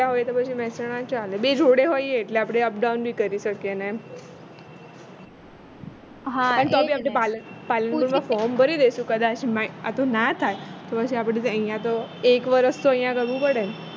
એકલા હોય તો પછી મેહસાણા ચાલે બે જોડે હોઈએ તો એટલે આપણે up down બી કરી શકીયે ને હા એ જ ને તો બી આપને પાલનપુરમાં form ભરી દઈશું કદાચ આપણે અહીંયા તો એક વર્ષ તો અહીંયા કરવું પડે ને